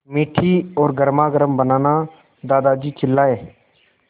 मीठी और गर्मागर्म बनाना दादाजी चिल्लाए